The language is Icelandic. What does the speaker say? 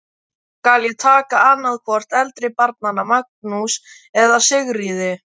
Skal ég taka annað hvort eldri barnanna, Magnús eða Sigríði.